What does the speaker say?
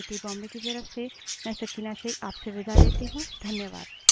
यह स्क्रिप्ट देवेन्द्र कैरवान द्वारा अनुवादित है तथा आई आई टी बॉम्बे की तरफ से मैं सकीना शेख अब आप से विदा लेती हूँ धन्यवाद